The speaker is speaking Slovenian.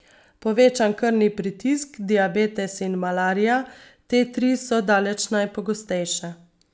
Povečan krvni pritisk, diabetes in malarija, te tri so daleč najpogostejše.